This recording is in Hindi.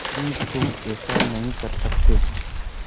कि तुम ऐसा नहीं कर सकते